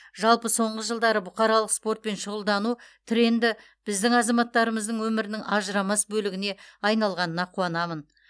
жалпы соңғы жылдары бұқаралық спортпен шұғылдану тренді біздің азаматтарымыздың өмірінің ажырамас бөлігіне айналғанына қуанамын